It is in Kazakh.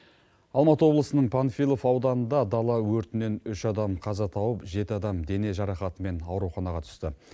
алматы облысының панфилов ауданында дала өртінен үш адам қаза тауып жеті адам дене жарақатымен ауруханаға түсті